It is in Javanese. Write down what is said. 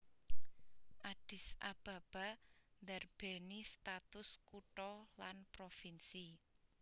Addis Ababa ndarbèni status kutha lan provinsi